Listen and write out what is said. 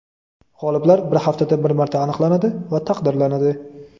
G‘oliblar bir haftada bir marta aniqlanadi va taqdirlanadi.